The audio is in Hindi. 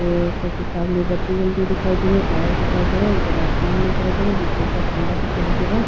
ये सामने सब्जी मंडी दिखाई दे रही है टायर दिखाई दे रहा है उपर आसमान दिखाई दे रहा है बिजली का खम्बा दिखाई दे रहा है।